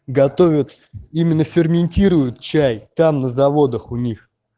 готовят именно ферментируют чай там на заводах у них